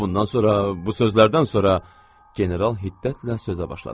Bundan sonra, bu sözlərdən sonra general hiddətlə sözə başladı.